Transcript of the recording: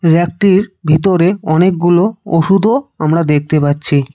রেকটির ভিতরে অনেকগুলো ওষুধও আমরা দেখতে পাচ্ছি।